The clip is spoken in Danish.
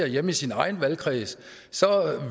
hjemme i sin egen valgkreds så